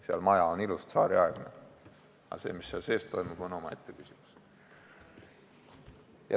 Seal on ilus tsaariaegne maja, aga see, mis seal sees toimub, on omaette küsimus.